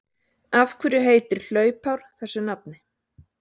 Af hverju heitir hlaupár þessu nafni?